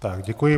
Tak děkuji.